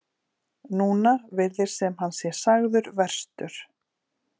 Núna virðist sem hann sé sagður verstur.